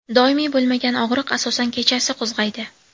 Doimiy bo‘lmagan og‘riq asosan kechasi qo‘zg‘aydi.